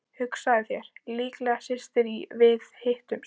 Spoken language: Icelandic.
Hugsaðu þér, líklega styttist í að við hittumst.